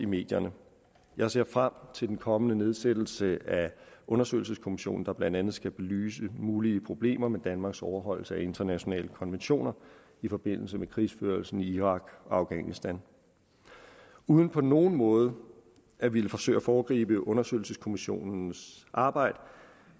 medierne jeg ser frem til den kommende nedsættelse af undersøgelseskommissionen der blandt andet skal belyse mulige problemer med danmarks overholdelse af internationale konventioner i forbindelse med krigsførelsen i irak og afghanistan uden på nogen måde at ville forsøge at foregribe undersøgelseskommissionens arbejde